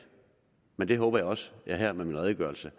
og det håber jeg også at jeg med min redegørelse